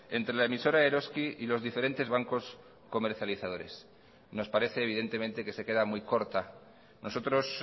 entre la emisora eroski y los diferentes bancos comercializadores nos parece evidentemente que se queda muy corta nosotros